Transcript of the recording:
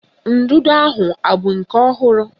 Ndụdụ ahụ abụ nke ọhụrụ?